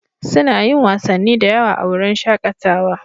Suna yin wasanni da yawa a wurin shakatawa.